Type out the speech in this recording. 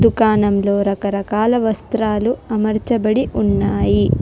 దుకాణంలో రకరకాల వస్త్రాలు అమర్చబడి ఉన్నాయి.